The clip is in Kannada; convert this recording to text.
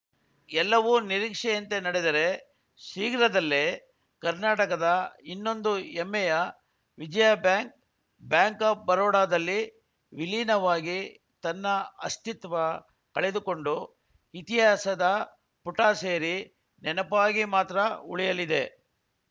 ಎಲ್ಲವೂ ನಿರೀಕ್ಷೆಯಂತೆ ನಡೆದರೆ ಶೀಘ್ರದಲ್ಲೇ ಕರ್ನಾಟಕದ ಇನ್ನೊಂದು ಹೆಮ್ಮೆಯ ವಿಜಯಾ ಬ್ಯಾಂಕ್‌ ಬ್ಯಾಂಕ್‌ ಆಫ್‌ ಬರೋಡಾದಲ್ಲಿ ವಿಲೀನವಾಗಿ ತನ್ನ ಅಸ್ತಿತ್ವ ಕಳೆದುಕೊಂಡು ಇತಿಹಾಸದ ಪುಟ ಸೇರಿ ನೆನಪಾಗಿ ಮಾತ್ರ ಉಳಿಯಲಿದೆ